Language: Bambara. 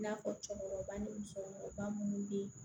I n'a fɔ cɛkɔrɔba ni musokɔrɔba munnu bɛ yen